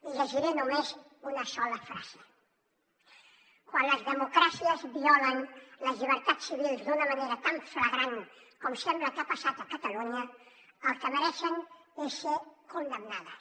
i llegiré només una sola frase quan les democràcies violen les llibertats civils d’una manera tan flagrant com sembla que ha passat a catalunya el que mereixen és ser condemnades